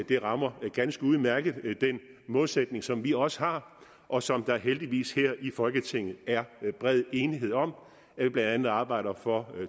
det rammer ganske udmærket den målsætning som vi også har og som der heldigvis her i folketinget er bred enighed om blandt andet arbejder for